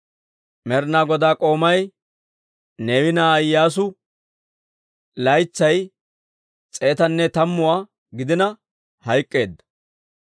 Med'inaa Godaa k'oomay, Neewe na'aa Iyyaasu, laytsay s'eetanne tammuwaa gidina hayk'k'eedda;